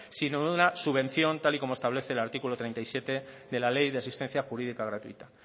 sino de una subvención tal y como establece el artículo treinta y siete de la ley de asistencia jurídica gratuita